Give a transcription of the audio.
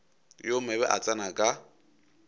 yo mobe a tsena ka